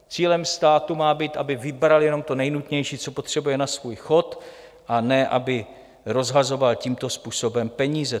Cílem státu má být, aby vybral jenom to nejnutnější, co potřebuje na svůj chod, a ne aby rozhazoval tímto způsobem peníze.